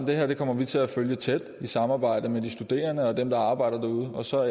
det her kommer vi til at følge tæt i samarbejde med de studerende og dem der arbejder derude og så